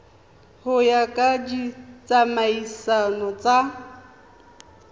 go ya ka ditsamaiso tsa